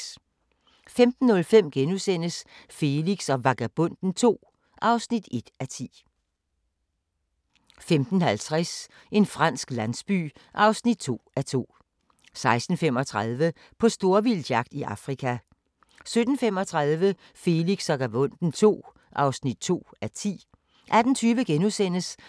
15:05: Felix og Vagabonden II (1:10)* 15:50: En fransk landsby (2:2) 16:35: På storvildtsjagt i Afrika 17:35: Felix og Vagabonden II (2:10) 18:20: